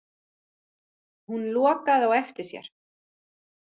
Hún lokaði á eftir sér.